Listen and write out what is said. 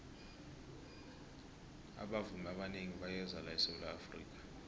abavumi abanengi bayeza la esawula afrika